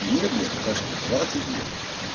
мне блядь в башке двадцать лет